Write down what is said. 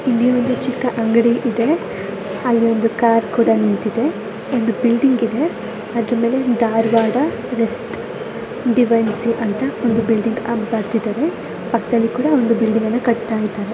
ಇಲ್ಲಿ ಒಂದು ಚಿಕ್ಕ ಅಂಗಡಿಯಿದೆ ಅಲ್ಲಿ ಒಂದು ಕಾರ್ ನಿಂತಿದೆ ಒಂದುಂಬುಇಲ್ಡಿಂಗ್ ಇದೆ ಅದರ ಮೇಲೆ ಧಾರವಾಡ ವೆಸ್ಟ್ ಪಕ್ಕದಲ್ಲಿ ಒಂದ್ ಬಿಲ್ಡಿಂಗ್ ಕಟ್ಟುತ್ತಿದ್ದಾರೆ .